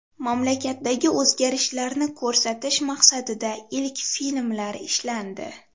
Mamlakatdagi o‘zgarishlarni ko‘rsatish maqsadida ilk filmlar ishlandi.